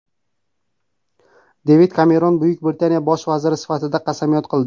Devid Kemeron Buyuk Britaniya bosh vaziri sifatida qasamyod qildi.